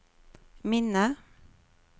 minne